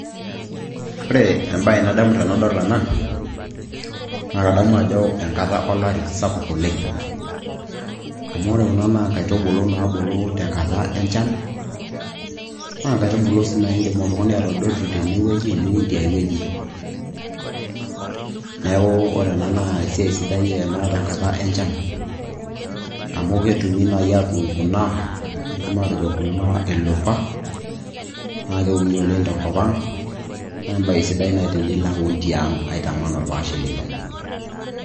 Enkata o lari sapuk oleng'. Ore kuna naa inkaitubulu naabulu tenkata enchan, naa inkaitubulu sii naa iindim oltung'ani atadotu tenewueji niun tiai wueji. Esiai sidai ena tenkata enchan, amu ketum aatuun kuna, kidimi atejo kulo ildupa, naa keuni oleng' tenkop ang', naa embae sidai tenilo aun tiang' aitaman orpaashe lino.